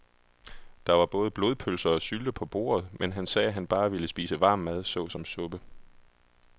Der var både blodpølse og sylte på bordet, men han sagde, at han bare ville spise varm mad såsom suppe.